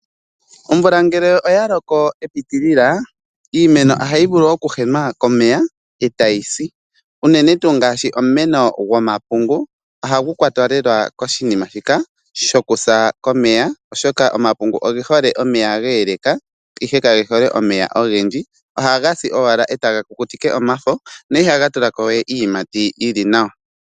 Omvula ngele oya loko epitilila, iimeno ohayi vulu okuhenwa komeya e tayi si, unene tuu ngaashi omumeno gomapungu ohagu kwatwa lela koshinima shika shokusa komeya oshoka omapungu oge hole omeya ga eleka. Ihe kage hole omeya ogendji, ohaga si owala e taga kukutike omafo, na ihaga tulako we iiyimati yili nawa.